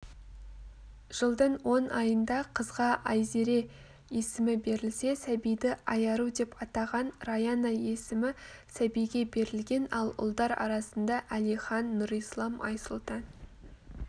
жылдың он айында қызға айзере есімі берілсе сәбиді айару деп атаған раяна есімі сәбиге берілген ал ұлдар арасында әлихан нұрислам айсұлтан